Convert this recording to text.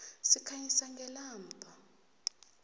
sikhanyisa ngelamba